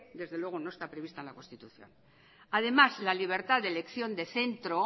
desde luego no está prevista en la constitución además la libertad de elección de centro